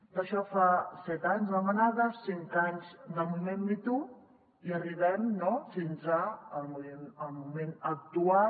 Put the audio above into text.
d’això fa set anys de la manada cinc anys del moviment me too i arribem fins al moment actual